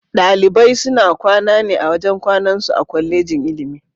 Dalibai suna kwana ne a wajen kwanan su a Kwallejin ilimi.